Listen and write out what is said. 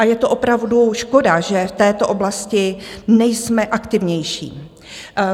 A je to opravdu škoda, že v této oblasti nejsme aktivnější.